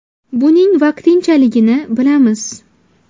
Buning vaqtinchaligini bilamiz.